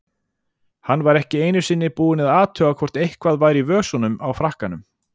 Hann var ekki einu sinni búinn að athuga hvort eitthvað væri í vösunum á frakkanum.